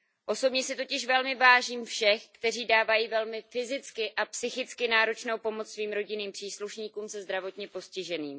Osobně si totiž velmi vážím všech, kteří dávají velmi fyzicky a psychicky náročnou pomoc svým rodinným příslušníkům se zdravotním postižením.